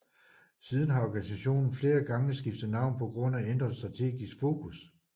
Siden har organisationen flere gange skiftet navn på grund af ændret strategisk fokus